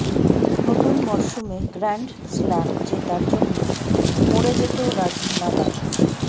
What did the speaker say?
নতুন মরসুমে grand slam জেতার জন্য মরে যেতেও রাজি নাদাল